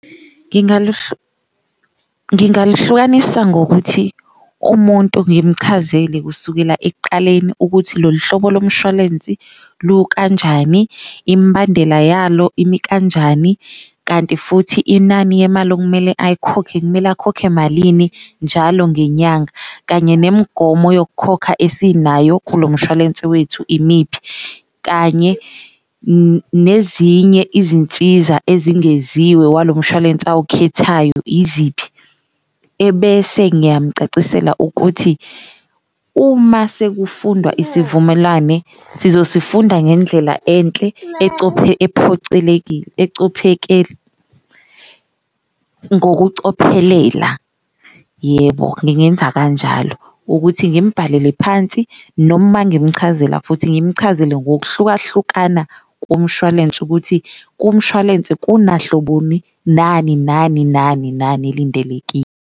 Ngingaluhlukanisa ngokuthi umuntu ngimchazele kusukela ekuqaleni ukuthi lolu hlobo lomshwalensi lukanjani, imbandela yalo imikanjani, kanti futhi inani yemali okumele ayikhokhe kumele akhokhe malini njalo ngenyanga. Kanye nemigomo yokukhokha esinayo kulo mshwalense wethu imiphi, kanye nezinye izinsiza ezingeziwe walo mshwalense awukhethayo iziphi, ebese ngiyamucacisela ukuthi uma sekufundwa isivumelwane sizosifunda ngendlela enhle ophocelekile ngokucophelela, yebo ngingenza kanjalo. Ukuthi ngimbhalele phansi noma mangimchazela futhi ngimchazele ngokuhlukahlukana komshwalense ukuthi kumshwalense kunahloboni nani nani nani nani elindelekile.